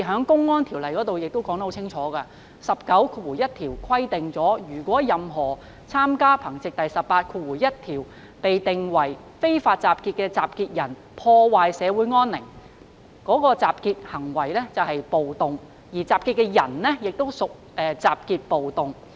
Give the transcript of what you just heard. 《公安條例》第191條清楚說明暴動的法律定義："如任何參與憑藉第181條被定為非法集結的集結的人破壞社會安寧，該集結即屬暴動，而集結的人即屬集結暴動"。